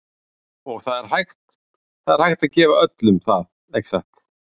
Og það er hægt, það er hægt að gefa öllum það, ekki satt?